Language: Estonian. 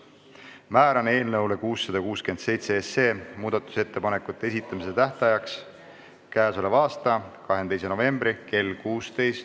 Määran eelnõu 667 muudatusettepanekute esitamise tähtajaks k.a 22. novembri kell 16.